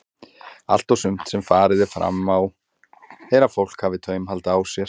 Allt og sumt sem farið er fram á er að fólk hafi taumhald á sér.